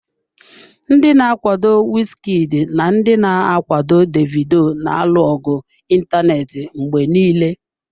Ndị na-akwado Wizkid na ndị na-akwado Davido na-alụ ọgụ ịntanetị mgbe niile.